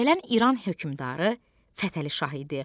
Gələn İran hökmdarı Fətəli Şah idi.